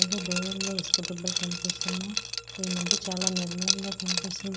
మనకి దూరంలో ఇసుక దెబ్బలు కనిపిస్తున్నాయి. ఈ మద్య చాలా నిర్మలంగా కనిపి --